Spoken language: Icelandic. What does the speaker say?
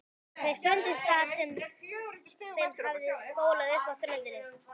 Þeir fundust þar sem þeim hafði skolað upp á ströndina.